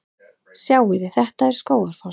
Sjáiði! Þetta er Skógafoss.